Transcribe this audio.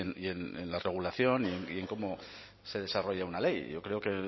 y en la regulación y en cómo se desarrolla una ley yo creo que